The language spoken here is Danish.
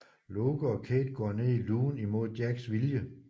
Locke og Kate går ned i lugen imod Jacks vilje